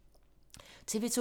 TV 2